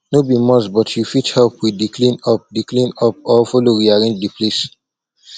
no be must but you fit help with di clean up di clean up or follow rearrange the place